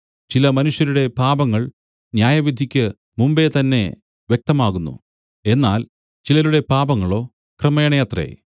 ചില മനുഷ്യരുടെ പാപങ്ങൾ ന്യായവിധിയ്ക്കു മുമ്പെ തന്നെ വ്യക്തമാകുന്നു എന്നാൽ ചിലരുടെ പാപങ്ങളോ ക്രമേണയത്രേ